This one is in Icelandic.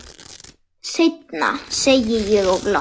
Seinna, segi ég og glotti.